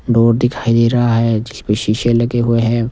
Board दिखाई दे रहा है जिस पे शीशे लगे हुए हैं।